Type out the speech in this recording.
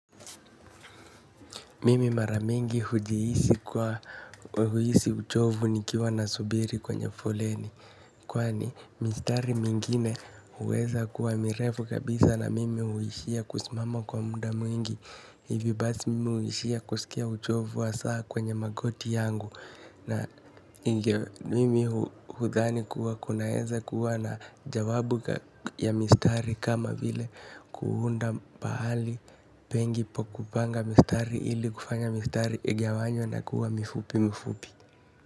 Mimi mara mingi hujhiisi kuwa huhisi uchovu nikiwa nasubiri kwenye foleni. Kwani mistari mingine huweza kuwa mirefu kabisa na mimi huishia kusimama kwa muda mwingi. Hivo basi mimi huishia kusikia uchovu wa saa kwenye magoti yangu. Na mimi hudhani kuwa kunaweza kuwa na jawabu ya mistari kama vile kuunda pahali pengi pa kupanga mistari ili kufanya mistari igawanywe na kuwa mifupi mifupi.